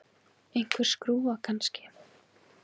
Einhver skrúfa, kannski.